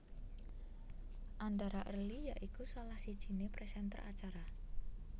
Andhara early ya iku salah sijiné presenter acara